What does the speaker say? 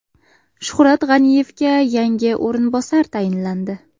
Shuhrat G‘aniyevga yangi o‘rinbosar tayinlandi.